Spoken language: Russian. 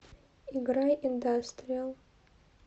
играй индастриал